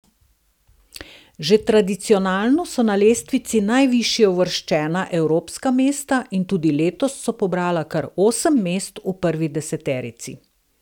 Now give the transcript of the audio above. Že tradicionalno so na lestvici najvišje uvrščena evropska mesta in tudi letos so pobrala kar osem mest v prvi deseterici.